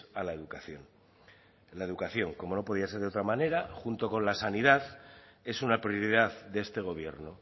a la educación la educación como no podía ser de otra manera junto con la sanidad es una prioridad de este gobierno